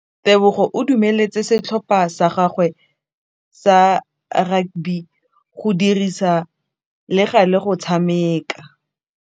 Lefapha la Thuto le agile sekôlô se se pôtlana fa thoko ga tsela.